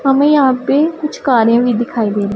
हमें यहां पे कुछ कारें भी दिखाई दे रही--